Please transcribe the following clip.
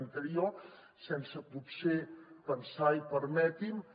anteriors sense potser pensar i permeti m’ho